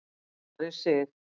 Ari Sig.